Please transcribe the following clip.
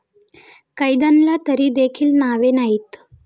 कैद्यांना तरी देखील नावे नाहीत.